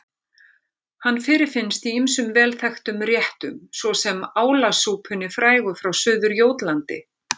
Hann fyrirfinnst í ýmsum vel þekktum réttum svo sem álasúpunni frægu frá Suður-Jótlandi.